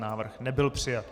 Návrh nebyl přijat.